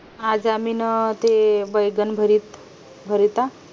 आज आम्ही ना ते बेंगन भरीत